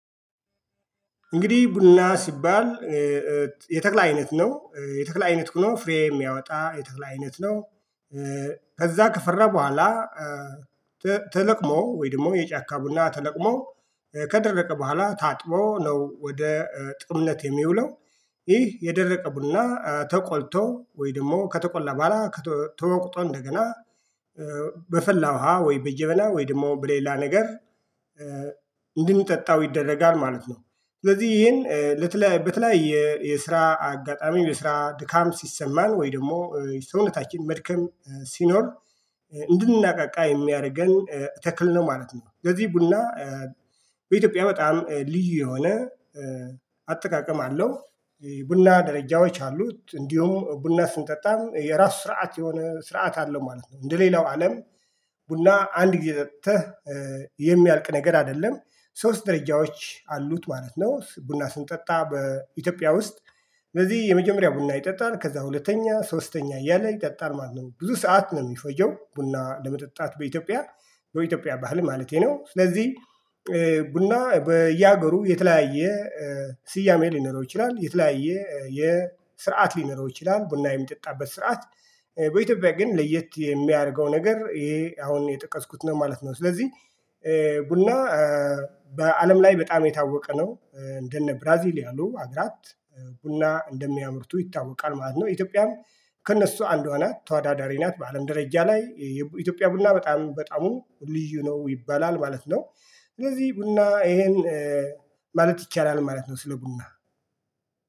እንግዲህ ቡና ሲባል የተክል አይነት ነው የተክለ አይነት ሁኖ ፍሬ የሚያወጣ የተክለ አይነት ነው። ከዛ ከፈራ በኋላ ተለቅሞ ወይ ደግሞ የጫካ ቡና ተለቅሞ ከደረቀ በኋላ ታጥቦ ነው ወደ ጥሩነት የሚውለው። ይህ የደረቀ ቡና ተቆልቶ ወይ ደግሞ ከተቆላ በኋላ ተወቅጦ እንደገና በፈላ ውሃ ወይ በጀበና ወይ ደግሞ በሌላ ነገር እንድንጠጣው ይደረጋል ማለት ነው። ስለዚህ ይሄን ለተለያየ በተለያየ የስራ አጋጣሚ የስራ ድካም ሲሰማን ወይ ደግሞ ሰውነታችን መድከም ሲኖር እንድናቃቃ የሚያደርገን ተክል ነው ማለት ነው። ስለዚህ ቡና በኢትዮጵያ በጣም ልዩ የሆነ አጠቃቀም አለው። ቡና ደረጃዎች አሉት እንዲሁም ቡና ስንጠጣም የራሱ ስርዓት የሆነ ስርዓት አለው ማለት ነው። እንደሌላው አለም ቡና አንድ ጊዜ ጠጥተህ የሚያልቅ ነገር አይደለም። ሶስት ደረጃዎች አሉት ማለት ነው። ቡና ስንጠጣ በኢትዮጵያ ውስጥ እነዚህ የመጀመሪያ ቡና ይጠጣል ከዛ ሁለተኛ ሶስተኛ እያለ ይጠጣል ማለት ነው። ብዙ ሰዓት ነው የሚፈጀው ቡና ለመጠጣት በኢትዮጵያ በኢትዮጵያ ባህል ማለቴ ነው። ስለዚህ ቡና በየሀገሩ የተለያየ ስያሜ ሊኖረው ይችላል የተለያየ የስርዓት ሊኖረው ይችላል። ቡና የሚጠጣበት ስርዓት በኢትዮጵያ ግን ለየት የሚያደርገው ነገር ይሄ አሁን የጠቀስኩት ነው ማለት ነው። ስለዚህ ቡና በአለም ላይ በጣም የታወቀ ነው። እንደነ ብራዚል ያሉ አገራት ቡና እንደሚያምርቱ ይታወቃል ማለት ነው። ኢትዮጵያም ከእነሱ አንዷ ናት ተወዳዳሪ ናት በአለም ደረጃ ላይ የኢትዮጵያ ቡና በጣም በጣዕሙ ልዩ ነው ይባላል ማለት ነው። ስለዚህ ቡና ይሄን ማለት ይቻላል ማለት ነው። ስለ ቡና